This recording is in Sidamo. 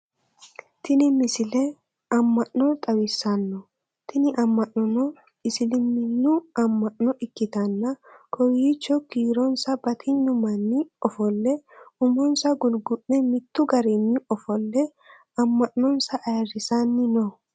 tini misile amma'no xawissanno tini amma'nono isiliminnu ammanno ikkitanna kiowiicho kiironsa batinyu manni ofolle umonsa gulgu'le mittu garinni ofolle ammanonsa ayeerrisanni no